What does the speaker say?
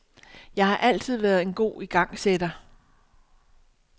Jeg har altid været en god igangsætter.